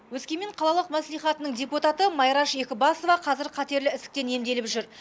өскемен қалалық мәслихатының депутаты майраш екібасова қазір қатерлі ісіктен емделіп жүр